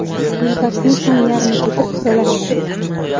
Yo‘lbarsning ham yarmi ketib, xiralashib turibdi.